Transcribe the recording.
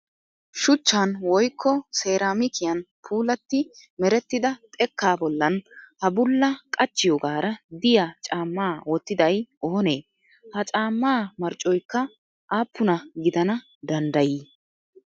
Shuchchan woyikko seeraamikiyan puulatti merettida xekkaa bollan ha bulla qachchiyogaara diya caammaa wottiday oonee? Ha caammaa marccoyikka appuna gidana danddayi?